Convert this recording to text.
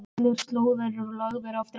Allir slóðar eru lagðir af dráttarvélum.